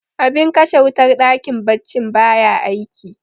abin kashe wutar dakin baccin baya aiki